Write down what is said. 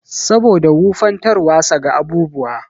Saboda wufantarwasa ga abubuwa.